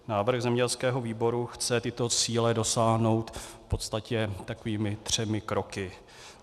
Návrh zemědělského výboru chce tyto cíle dosáhnout v podstatě takovými třemi kroky.